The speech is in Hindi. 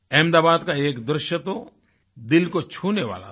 अहमदाबाद का एक दृश्य तो दिल को छू लेने वाला था